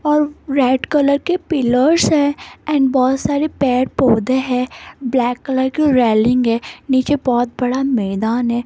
और red colour के pillars है एंड बहोत सारे पेड़ पौधे हैं ब्लैक कलर की रेलिंग है नीचे बहोत बड़ा मैदान है।